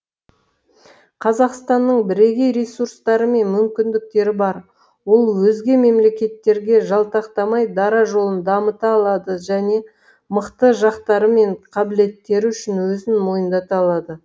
қазақстанның бірегей ресурстары мен мүмкіндіктері бар ол өзге мемлекеттерге жалтақтамай дара жолын дамыта алады және мықты жақтары мен қабілеттері үшін өзін мойындата алады